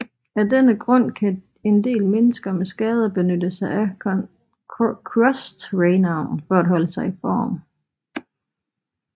Af denne grund kan en del mennesker med skader benytte sig af crosstraineren for at holde sig i form